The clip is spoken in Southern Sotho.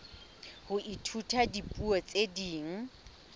ho ithuta dipuo tse ding